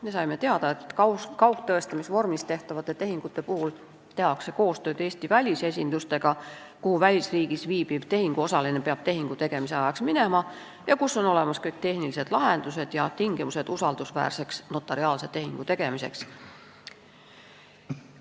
Me saime teada, et kaugtõestamise vormis tehtavate tehingute puhul tehakse koostööd Eesti välisesindustega, kuhu peab välisriigis viibiv tehinguosaline tehingu tegemise ajaks minema ning kus on olemas kõik tehnilised lahendused ja tingimused usaldusväärseks notariaalse tehingu tegemiseks.